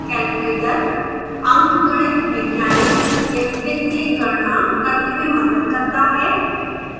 calculator अंकगणित वैज्ञानिक या वित्तीय गणना करने में मदद करता है